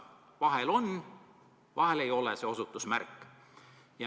Vahel see osutusmärk on, vahel seda ei ole.